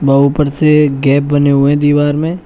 आ ऊपर से गैप बने हुए हैं दीवार में।